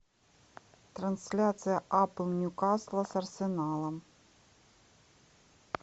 трансляция апл ньюкасла с арсеналом